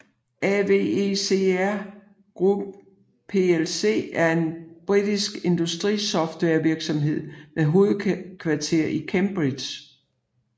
AVEVA Group plc er en britisk industrisoftwarevirksomhed med hovedkvarter i Cambridge